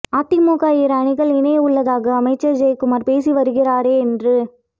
அதிமுக இரு அணிகள் இணைய உள்ளதாக அமைச்சர் ஜெயக்குமார் பேசி வருகிறாரே என்று